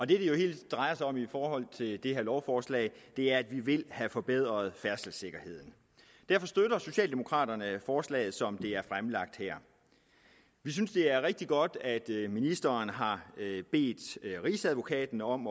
det hele jo drejer sig om i forhold til det her lovforslag er at vi vil have forbedret færdselssikkerheden derfor støtter socialdemokraterne forslaget som det er fremlagt her vi synes det er rigtig godt at ministeren har bedt rigsadvokaten om